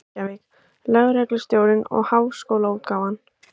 Reykjavík: Ríkislögreglustjórinn og Háskólaútgáfan.